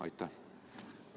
Aitäh!